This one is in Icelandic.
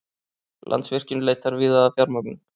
Landsvirkjun leitar víða að fjármögnun